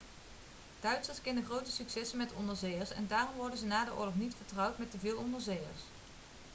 duitsers kenden grote successen met onderzeeërs en daarom worden ze na de oorlog niet vertrouwd met te veel onderzeeërs